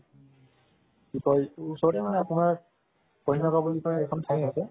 কি কয় এটো উচৰতে আপোনাৰ কুহিমাকপুৰ নিচিনা এটা থাই আছে